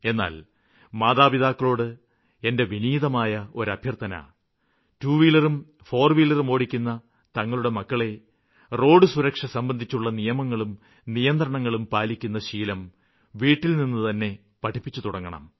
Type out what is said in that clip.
എന്നാല് മാതാപിതാക്കളോട് എന്റെ വിനീതമായ ഒരു അഭ്യര്ത്ഥന ടൂ വീലറും ഫോര് വീലറും ഓടിക്കുന്ന തങ്ങളുടെ മക്കളെ റോഡുസുരക്ഷ സംബന്ധിച്ചുള്ള നിയമങ്ങളും നിയന്ത്രണങ്ങളും പാലിക്കുന്ന ശീലം വീട്ടില്നിന്നുതന്നെ പഠിപ്പിച്ചുതുടങ്ങണം